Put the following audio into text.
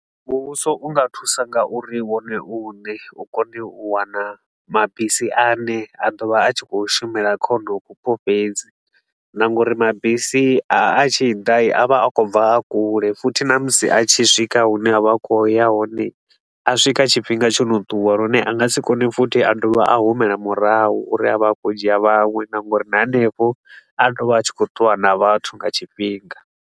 Muvhuso u nga thusa nga uri wone u ne u kone u wana mabisi a ne a ḓo vha a tshi khou shumela kha honoho vhupo fhedzi. Na ngauri mabisi a tshi da, a vha a khou bva a kule futhi na musi a tshi swika hune a vha a khou ya hone a swika tshifhinga tsho no ṱuwa, lune a nga si kone futhi a do vha a humela murahu uri a vhe a khou ya u dzhia vhaṅwe. Na ngauri na hanefho a tea u vha a tshi khou ṱuwa na vhathu nga tshifhinga.